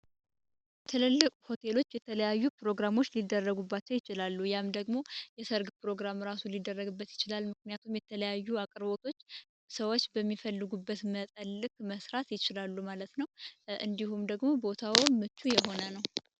ትልልቅ ሆቴሎች የተለያዩ ፕሮግራሞች ሊደረባቸው ይችላል። ይሃም ደግሞ የሰርግ ፕሮግራም ራሱ ሊደረግበት ይችላል። ምክንያቱም የተለያዩ አቅርቦቶች ሰዎች በሚፈልጉበት መጠን ልክ መስራት ይችላሉ ማለት ነው። እንዲሁም ደግሞ ቦታው ምቹ የሆነ ነው።